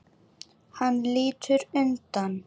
Hann lítur undan.